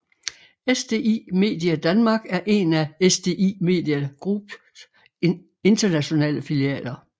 SDI Media Denmark er en af SDI Media Group s internationale filialer